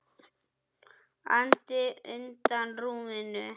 andi undan rúminu.